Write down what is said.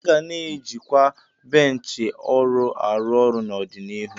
A ga na-eji kwa benchi ọrụ arụ ọrụ n'ọdịnihu.